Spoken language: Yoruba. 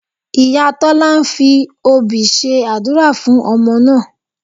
Ìyá Tọ́lá fi obì ṣe àdúrà fún ọmọ náà